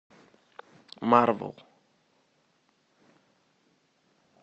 марвел